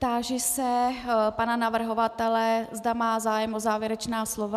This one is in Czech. Táži se pana navrhovatele, zda má zájem o závěrečná slova.